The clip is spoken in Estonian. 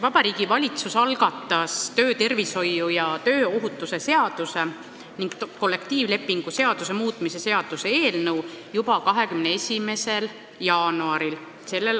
Vabariigi Valitsus algatas töötervishoiu ja tööohutuse seaduse ning kollektiivlepingu seaduse muutmise seaduse eelnõu juba 22. jaanuaril s.